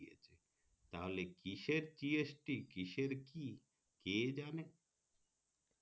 তাহলে কিসের GST কিসের কি কে জানে